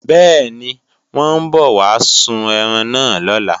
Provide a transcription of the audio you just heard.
Bẹ́ẹ̀ni, wọ́n ń bọ̀ wá sun ẹran náà lọ́la